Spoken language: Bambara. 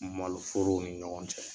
Maloforow ni ɲɔgɔn cɛ.